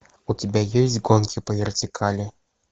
у тебя есть гонки по вертикали